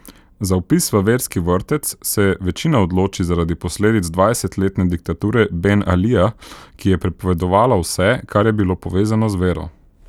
Za vpis v verski vrtec se večina odloči zaradi posledic dvajsetletne diktature Ben Alija, ki je prepovedovala vse, kar je bilo povezano z vero.